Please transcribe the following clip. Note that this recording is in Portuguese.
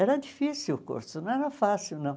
Era difícil o curso, não era fácil, não.